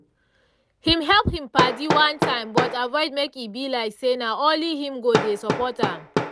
he help him padi one time but avoid make e be like say na only him go dey support am